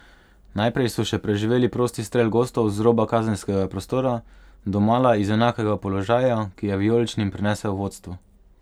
Najprej so še preživeli prosti strel gostov z roba kazenskega prostora, domala iz enakega položaja, ki je vijoličnim prinesel vodstvo.